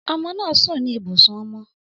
Ọmọ naa sun ni ibusun ọmọ